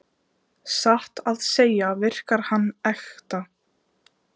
Satt að segja virkar hann ekta.